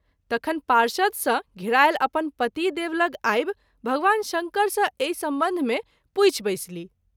तखन पार्षद सँ घेरायल अपन पति देव लग आबि भगवान शंकर सँ एहि संबंध मे पूछि बैसलीह।